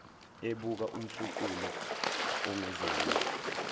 ebuka umfuqulu onguzongile